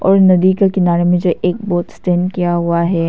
और नदी के किनारे में जो एक बोट स्टैंड किया हुआ है।